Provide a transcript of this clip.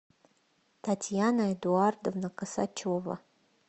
татьяна эдуардовна косачева